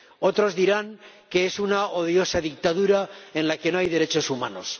otros dirán que es una odiosa dictadura en la que no hay derechos humanos.